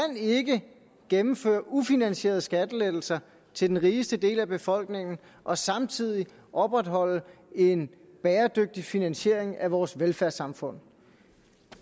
gennemføre ufinansierede skattelettelser til den rigeste del af befolkningen og samtidig opretholde en bæredygtig finansiering af vores velfærdssamfund